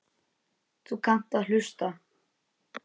Þú kannt að hlusta.